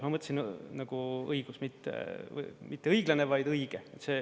Ma mõtlesin nagu õigus, mitte õiglane, vaid õige.